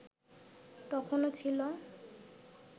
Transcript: তখনো ছিল